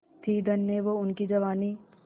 थी धन्य वो उनकी जवानी